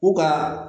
U ka